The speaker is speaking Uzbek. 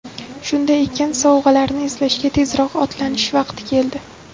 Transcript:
Shunday ekan, sovg‘alarni izlashga tezroq otlanish vaqti keldi!